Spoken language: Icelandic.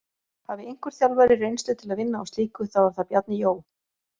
Hafi einhver þjálfari reynslu til að vinna á slíku, þá er það Bjarni Jó.